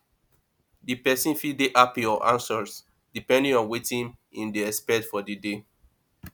di person fit dey happy or anxious depending on wetin im dey expect for di day